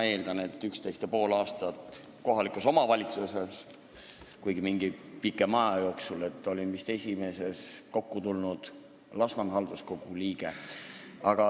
Olin üksteist ja pool aastat kohaliku omavalitsuse volikogus ning mingi pikema aja jooksul olin halduskogus, olin vist esimese kokkutulnud Lasnamäe halduskogu liige.